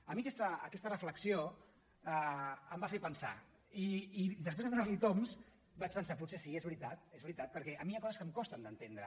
a mi aquesta reflexió em va fer pensar i després de donar li tombs vaig pensar potser sí és veritat és veritat perquè a mi hi ha coses que em costen d’entendre